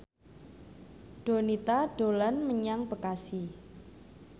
Donita dolan menyang Bekasi